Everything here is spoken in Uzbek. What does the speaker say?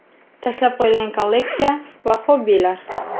Tashlab qo‘yilgan kolleksiya va xobbilar.